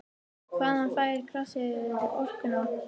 Hvaðan fær grasið orkuna?